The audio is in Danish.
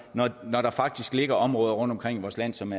når når der faktisk ligger områder rundtomkring i vores land som